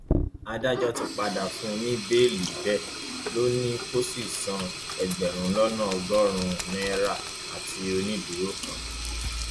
irú nǹkan nǹkan tó ń ba àwọn buhari um lẹrù nìyí ìdí sì nìyẹn tí wọn fi um fẹẹ kó sọjà jáde